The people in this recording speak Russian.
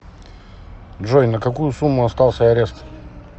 джой на какую сумму остался арест